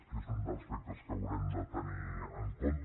que és un dels aspectes que haurem de tenir en compte